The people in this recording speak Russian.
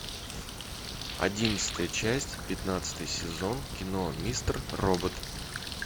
одиннадцатая часть пятнадцатый сезон кино мистер робот